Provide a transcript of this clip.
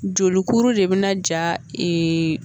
Jolikuru de bina ja